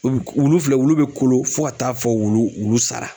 Epi wulu filɛ wulu be kolo fo ka taa fɔ wulu wulu sara